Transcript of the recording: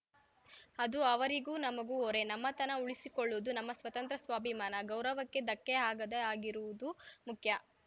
ಅದು ಅವರಿಗೂ ನಮಗೂ ಹೊರೆ ನಮ್ಮತನ ಉಳಿಸಿಕೊಳ್ಳುವುದು ನಮ್ಮ ಸ್ವಾತಂತ್ರ್ಯ ಸ್ವಾಭಿಮಾನ ಗೌರವಕ್ಕೆ ಧಕ್ಕೆಯಾಗದೆ ಹಾಗಿರುವುದು ಮುಖ್ಯ